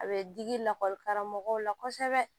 A bɛ digi lakɔli karamɔgɔw la kosɛbɛ